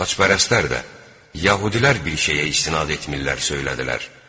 Xaçpərəstlər də yəhudilər bir şeyə istinad etmirlər söylədilər.